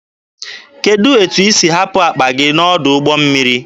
Kedụ etu isi hapụ akpa gị n'ọdụ ụgbọ mmiri?